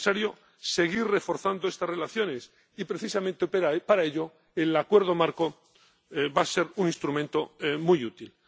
es necesario seguir reforzando estas relaciones y precisamente para ello el Acuerdo Marco va a ser un instrumento muy